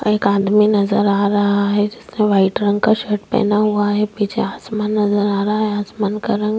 एक आदमी नज़र आ रहा है जिसने वाइट रंग का शर्ट पहना हुआ है नीचे आसमान नज़र आ रहा है आसमान का रंग--